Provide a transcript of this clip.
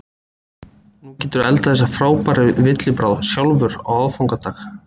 Nú geturðu eldað þessa frábæru villibráð sjálfur á aðfangadag.